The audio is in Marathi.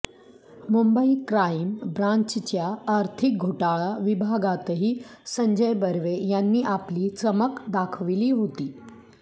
मुंबई क्राइम ब्रँचच्या आर्थिक घोटाळा विभागातही संजय बर्वे यांनी आपली चमक दाखवली होती